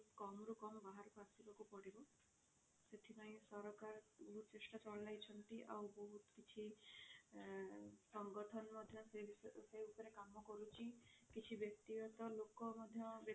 କମ ରୁ କମ ବାହାରକୁ ଆସିବାକୁ ପଡିବ ସେଥିପାଇଁ ସରକାର ବହୁତ ଚେଷ୍ଟା ଚଲାଇଛନ୍ତି ଆଉ ବହୁତ କିଛି ଆ ସଂଗଠନ ମଧ୍ୟ ସେ ବିଷୟ ସେ ଉପରେ କାମ କରୁଛି କିଛି ବ୍ୟକ୍ତି ଗତ ଲୋକ ମଧ୍ୟ